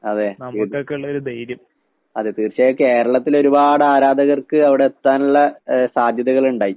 അതെ. അതെ തീർച്ചയായും കേരളത്തിലൊരുപാടാരാധകർക്ക് അവടെത്താനിള്ള ഏഹ് സാധ്യതകളിണ്ടായി.